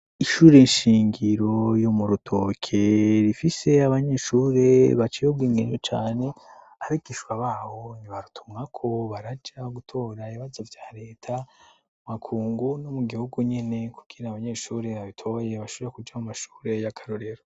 Ishure shingiro yo mu Rutoke rifise abanyeshure baciye ubwenge cane, abigisha baho ni barutumwako baraja gutora ibibazo vya reta mu makungu no mu gihugu nyene kugira abanyeshure babitoboye bashobore kuja mu mashure y'akarorero.